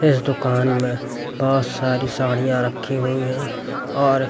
इस दुकान में बहुत सारी साड़ियां रखी हुई हैं और--